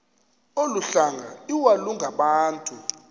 olu hlanga iwalungabantu